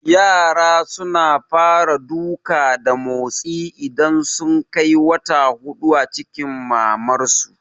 Yara suna fara duka da motsi idan sun kai wata hudu a cikin mamar su